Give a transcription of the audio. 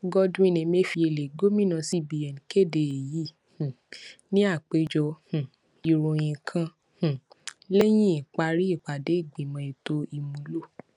godwin emefiele gomina cbn kede eyi um ni apejọ um iroyin kan um lẹhin ipari ipade igbimọ eto imulo